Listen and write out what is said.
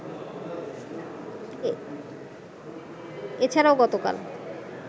এ ছাড়া গতকাল